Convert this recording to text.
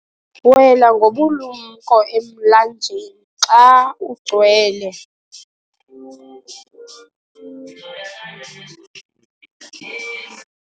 wela ngobulumko emlanjeni xa ugcwele